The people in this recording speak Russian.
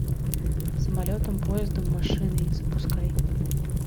самолетом поездом машиной запускай